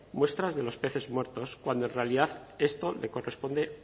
muestras de los peces muertos cuando en realidad esto les corresponde